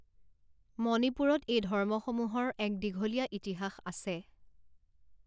মণিপুৰত এই ধৰ্মসমূহৰ এক দীঘলীয়া ইতিহাস আছে।